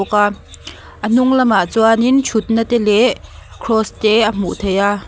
bawk a a hnung lamah chuanin thutna te leh kraws te a hmuh theih a.